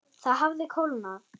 Það hafði kólnað.